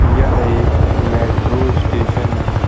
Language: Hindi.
यह एक मेट्रो स्टेशन है।